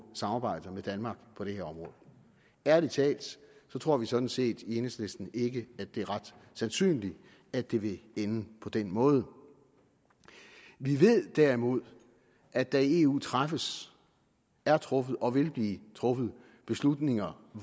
samarbejde med danmark på det her område ærlig talt tror vi sådan set i enhedslisten ikke at det er ret sandsynligt at det vil ende på den måde vi ved derimod at der i eu træffes er truffet og vil blive truffet beslutninger